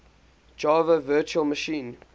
java virtual machine